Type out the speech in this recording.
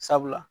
Sabula